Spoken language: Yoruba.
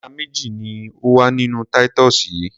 Ẹja méjì ní ó wà nínú Titus yìí.